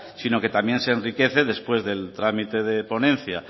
sino que también se enriquece después del trámite de ponencia